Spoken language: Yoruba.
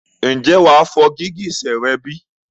Ǹjẹ́ wà fọ gìgísẹ̀ rẹ bí?